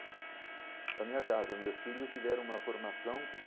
Na minha casa, meus filhos tiveram uma formação.